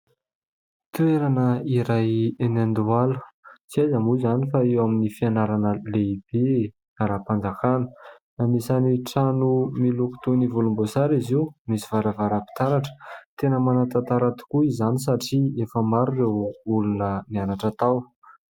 Toerana iray eny Andohalo tsy aiza moa izany fa eo amin'ny fianarana lehibe ara-mpanjakana, anisany trano miloko toy ny volomboasary izy io, misy varavaram-pitaratra. Tena manan-tantara tokoa izany satria efa maro ireo olona nianatra tao.